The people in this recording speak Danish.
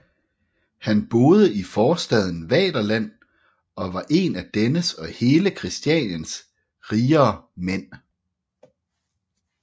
Han boede i forstaden Vaterland og var en af dennes og hele Kristianias rigere mænd